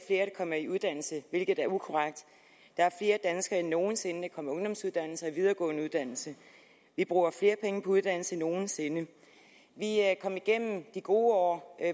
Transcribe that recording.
der kommer i uddannelse hvilket er ukorrekt der er flere danskere end nogen sinde der kommer i ungdomsuddannelse og i videregående uddannelse vi bruger flere penge på uddannelse end nogen sinde vi er kommet igennem de gode år